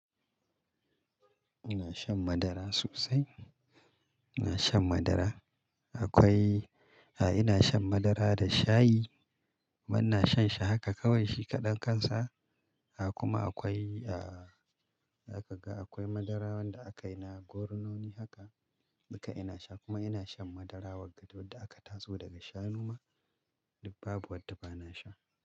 Ina shan madara sosai. Ina shan madara. Akwai, a'a ina shan madara da shayi. Kuma ina shan shi haka kawai shi kaɗan kansa. Kuma akwai, ah haka zaka ga akwai madara wanda aka yi na gornoni haka. Duka ina sha kuma ina shan madara waadda dudda da aka tatso daga shanu ma. Dak babu wadda ba na sha.